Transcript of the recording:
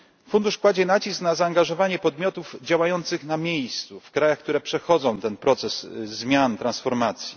Fundusz kładzie nacisk na zaangażowanie podmiotów działających na miejscu, w krajach, które przechodzą ten proces zmian, transformacji.